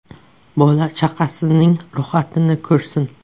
Bola-chaqasining rohatini ko‘rsin.